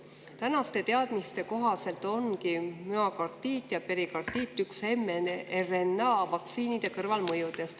Tänaste teadmiste kohaselt ongi müokardiit ja perikardiit mRNA-vaktsiinide kõrvalmõjud.